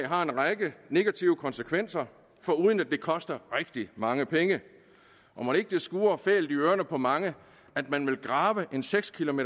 har en række negative konsekvenser foruden at det koster rigtig mange penge og mon ikke det skurrer fælt i ørerne på mange at man vil grave en seks km